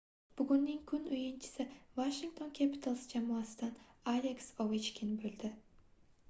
bugunning kun oʻyinchisi washington capitals jamoasidan aleks ovechkin boʻldi